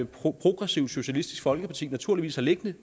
progressivt socialistisk folkeparti naturligvis har liggende